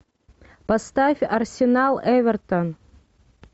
поставь арсенал эвертон